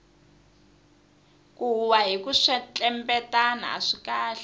ku huhwa hiku kwetlembetana aswi kahle